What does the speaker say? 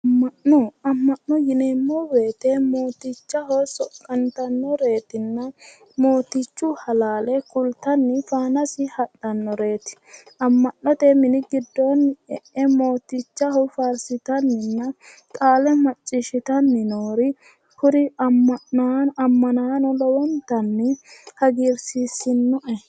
Amma'no. Amma'no yineemmo woyite mootichaho soqqantannoreetinna mootichu halaale kultanni faanasi hadhannoreeti. Amma'note mini giddoonni e'e mootichaho faarsitanninna qaale macciishshitanni noori kuri ammanaano lowontanni hagiirsiissinoe.